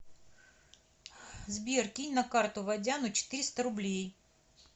сбер кинь на карту водяну четыреста рублей